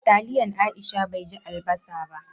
Taliyan Aisha bai ji albasa ba.